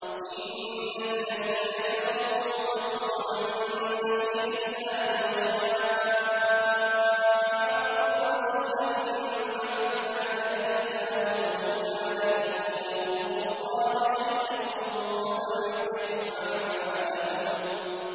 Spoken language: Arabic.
إِنَّ الَّذِينَ كَفَرُوا وَصَدُّوا عَن سَبِيلِ اللَّهِ وَشَاقُّوا الرَّسُولَ مِن بَعْدِ مَا تَبَيَّنَ لَهُمُ الْهُدَىٰ لَن يَضُرُّوا اللَّهَ شَيْئًا وَسَيُحْبِطُ أَعْمَالَهُمْ